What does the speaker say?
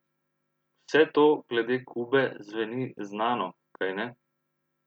Vse to glede Kube zveni znano, kajne?